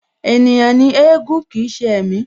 Ènìyàn ni éégún jẹ́ kii ṣe ẹ̀mí